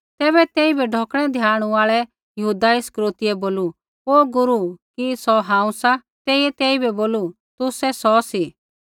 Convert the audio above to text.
तैबै तेइबै ढौकणै द्याणू आल़ै यहूदा इस्करियोतीयै बोलू हे गुरू कि सौ हांऊँ सा तेइयै तेइबै बोलू तुसै सौ सी